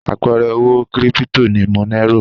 Àpẹẹrẹ owó kírípító ni Monero.